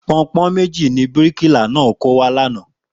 Pọnpọ́n méjì ni bíríkìlà náà kó wá lánàá